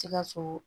Sikaso